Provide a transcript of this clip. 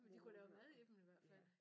Men de kunne lave mad i dem i hvert fald